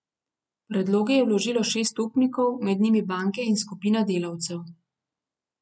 Predloge je vložilo šest upnikov, med njimi banke in skupina delavcev.